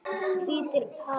Hvítir hattar.